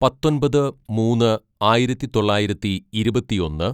"പത്തൊമ്പത് മൂന്ന് ആയിരത്തിതൊള്ളായിരത്തി ഇരുപത്തിയൊന്ന്‌